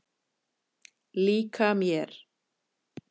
Líka mér.